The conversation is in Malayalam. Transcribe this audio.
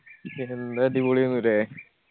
എന്ത് അടിപൊളി ആയിരുന്നു ല്ലേ